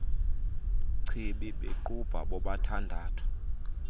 chibi bequbha bobathandathu